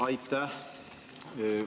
Aitäh!